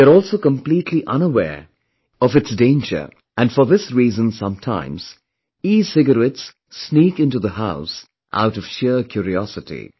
They are also completely unaware of its danger and for this reason sometimes ecigarettes sneak into the house out of sheer curiosity